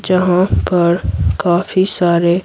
जहां पर काफी सारे --